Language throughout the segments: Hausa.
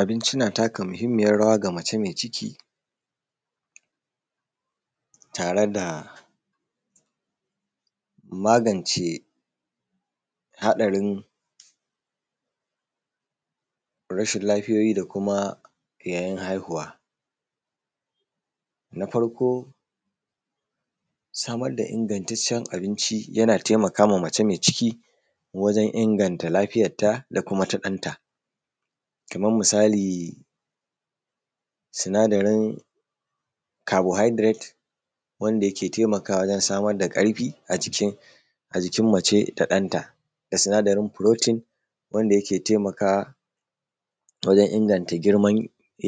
Abinci na taka mahimmiyar rawa ga mace mai ciki tare da magance haɗarin rashin lafiyoyi yayin haihuwa. Na farko samar da ingantacen abinci yana taimaka mace mai ciki wajen inganta lafiyanta da kuma ta ɗanta, kaman misali sinadarin kabo hidiret wanda yake taimakawa wajen samar da ƙarfin a jikin mace da ɗanta, da sinadarin furotin wanda yake taimaka wajen inganta girman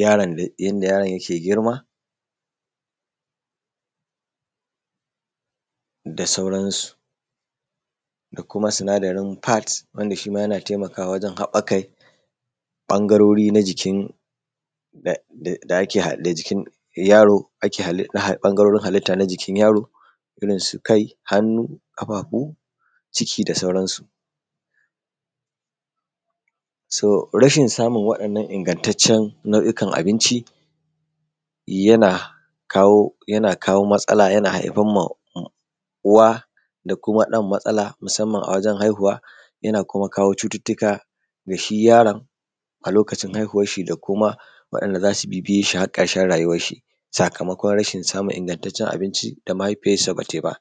yaron da yanda yaron yake girma da sauransu. Da kuma sinadarin fat wanda shima yana taimakawa wajen haɓakai ɓangarori na jikin da da jikin yaro da na halitta ,ɓangarorin halitta na jikin yaro irin su kai, hannu, ƙafafu, ciki da sauransu. So rashin samun wa’innan ingantacen na’u’ikan abinci yana kawo, yana kawo matsala yana haifarma uwa da kuma ɗan matsala musamman a wajen haihu, yana kuma kawo cututuka gashi yaron a lokacin haihuwar shi da kuma wa’inda za su bibiye shi har ƙarshen rayuwan shi sakamakon rashin samun ingantacen abinci da mahaifiyarsa bata yi ba.s